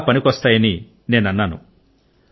చాలా పనికి వస్తాయని నేను అన్నాను